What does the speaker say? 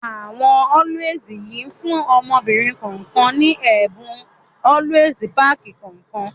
Àwọn Always yìí fún ọmọbìnrin kọ̀ọ̀kan ní ẹ̀bùn Always pack kọ̀ọ̀kan